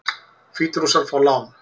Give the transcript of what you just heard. Hvítrússar fá lán